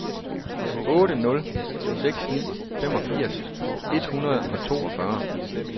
otte nul seks ni femogfirs et hundrede og toogfyrre